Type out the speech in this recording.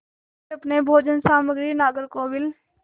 वे अपनी भोजन सामग्री नागरकोविल